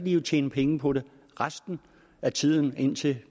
jo tjene penge på den resten af tiden indtil